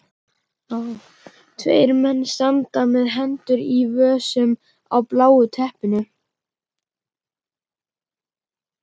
Tveir menn standa með hendur í vösum á bláu teppinu.